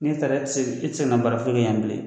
N'i taara e tɛ se e tɛ se kana baara f'i kɛ yan bilen.